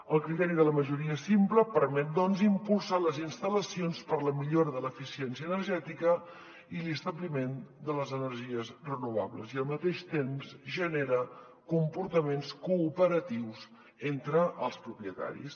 el criteri de la majoria simple permet doncs impulsar les instal·lacions per a la millora de l’eficiència energètica i l’establiment de les energies renovables i al mateix temps genera comportaments cooperatius entre els propietaris